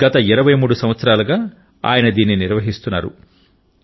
గత 23 సంవత్సరాలుగా ఆయన దీన్ని నిర్వహిస్తున్నారు